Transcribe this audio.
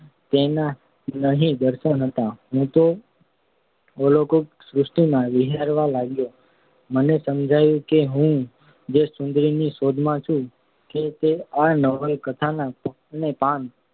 તેનાં અહીં દર્શન થતાં હું તો અલૌકિક સૃષ્ટિમાં વિહરવા લાગ્યો. મને સમજાયું કે હું જે સુંદરી ની શોધમાં છું તે તો આ નવલના પાને પાન